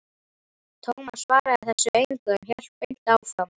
Tómas svaraði þessu engu, en hélt beint áfram